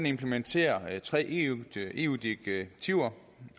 implementerer tre eu direktiver